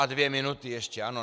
A dvě minuty ještě, ano.